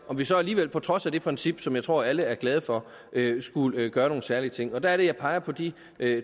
vi så alligevel på trods af det princip som jeg tror alle er glade for skulle gøre nogle særlige ting og der er det jeg peger på de